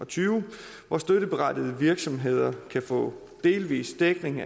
tyve hvor støtteberettigede virksomheder kan få delvis dækning